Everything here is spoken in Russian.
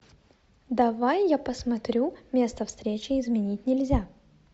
давай я посмотрю место встречи изменить нельзя